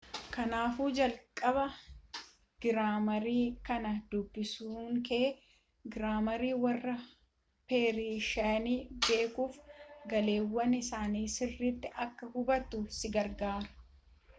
kaanaafuu jalqaba giraamarii kana dubbisuunkee giraamarii warra peershiyaa beekuufi gaaleewwan isaanii sirriitti akka hubattu si gargaara